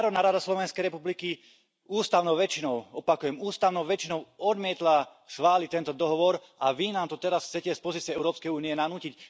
Národná rada Slovenskej republiky ústavnou väčšinou, opakujem ústavnou väčšinou, odmietla schváliť tento dohovor, a vy nám to teraz chcete z pozície Európskej únie nanútiť?